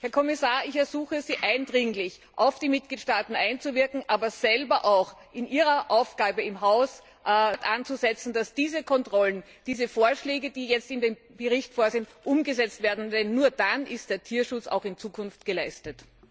Herr Kommissar, ich ersuche Sie eindringlich, auf die Mitgliedstaaten einzuwirken, aber auch selbst im Rahmen Ihrer Aufgabe in Ihrem Hause dort anzusetzen, dass diese Kontrollen, diese Vorschläge die jetzt in dem Bericht vorgesehen sind, umgesetzt werden, denn nur dann ist der Tierschutz auch in Zukunft gewährleistet.